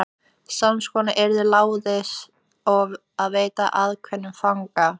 Sams konar og yður láðist að veita ákveðnum fanga.